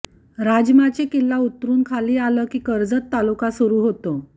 राजमाची किल्ला उतरून खाली आलं की कर्जत तालुका सुरू होतो